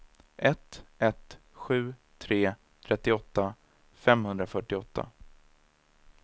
ett ett sju tre trettioåtta femhundrafyrtioåtta